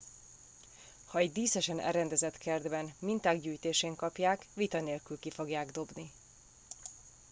ha egy díszesen elrendezett kertben minták gyűjtésén kapják vita nélkül ki fogják dobni